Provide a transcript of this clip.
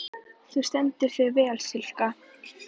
Þú stendur þig vel, Silka!